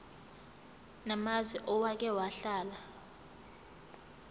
namazwe owake wahlala